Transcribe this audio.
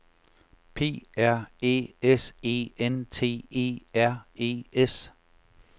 P R Æ S E N T E R E S